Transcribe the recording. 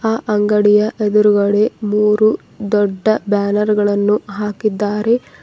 ಅ ಅಂಗಡಿಯ ಎದುರುಗಡೆ ಮೂರು ದೊಡ್ಡ ಬ್ಯಾನರ್ ಗಳನ್ನು ಹಾಕಿದ್ದಾರೆ.